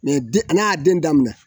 n'a y'a den daminɛ